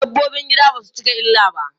Dabbobin gida basu cika illa ba.